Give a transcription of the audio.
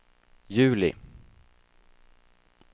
juli